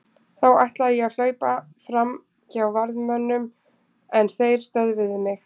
Þá ætlaði ég að hlaupa fram hjá varðmönnunum en þeir stöðvuðu mig.